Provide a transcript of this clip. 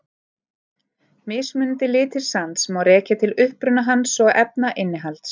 Mismunandi litir sands má rekja til uppruna hans og efnainnihalds.